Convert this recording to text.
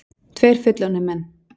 Tveir fullorðnir menn.